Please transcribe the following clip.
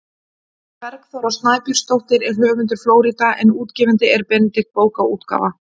Bergþóra Snæbjörnsdóttir er höfundur „Flórída“ en útgefandi er Benedikt bókaútgáfa.